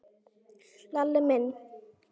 Lalli minn?